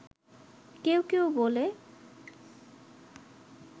কেউ কেউ বলে